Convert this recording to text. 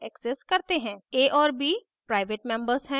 a और b private members हैं